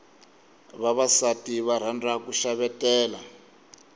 vavasati va rhandza ku xavetela